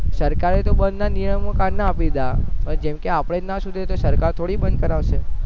સરકાર એ બંધ ના નિયમ તો કાયરના આપી દીધા પણ જેમકે આપડે જ ના સુધરીએ તો સરકાર થોડી બંધ કરાવશે